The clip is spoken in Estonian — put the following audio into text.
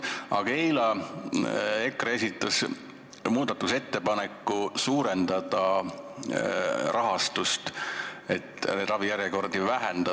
Aga eile esitas EKRE muudatusettepaneku suurendada rahastust, selleks et ravijärjekordi lühendada.